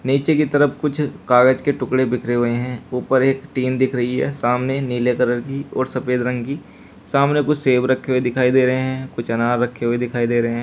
नीचे की तरफ कुछ कागज के टुकड़े बिखरे हुए हैं ऊपर एक टीन दिख रही है सामने नीले कलर की और सफेद रंग की सामने कुछ सेब रखे हुए दिखाई दे रहे हैं कुछ अनार रखे हुए दिखाई दे रहे हैं।